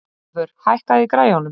Ævör, hækkaðu í græjunum.